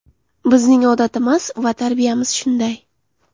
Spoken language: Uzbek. Bizning odatimiz va tarbiyamiz shunday.